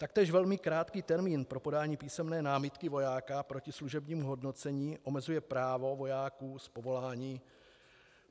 Taktéž velmi krátký termín pro podání písemné námitky vojáka proti služebnímu hodnocení omezuje právo vojáků z povolání.